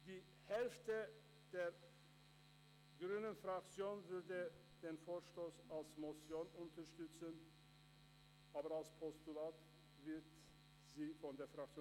Die Hälfte der grünen Fraktion würde den Vorstoss als Motion unterstützen.